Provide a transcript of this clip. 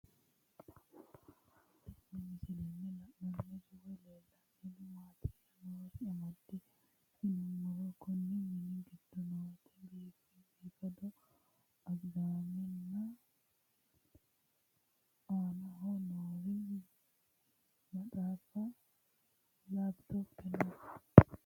Tenne misilenni la'nanniri woy leellannori maattiya noori amadde yinummoro konni minni giddo nootti biiffaddo agidaammenna aannaho noori maxaaffu laphittope noo